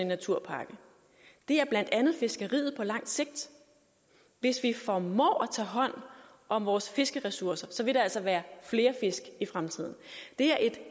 naturpakke det er blandt andet fiskeriet på lang sigt hvis vi formår at tage hånd om vores fiskeressourcer vil der altså være flere fisk i fremtiden det er et